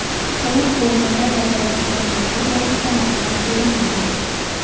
Halok bo‘lganlar va jarohatlanganlar borasida ma’lumot berilmagan.